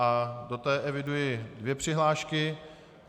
Do té eviduji dvě přihlášky.